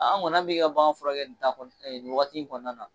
An kɔni an bi ka bagan furakɛ nin wagati in kɔnɔna na.